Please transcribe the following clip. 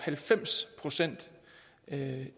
at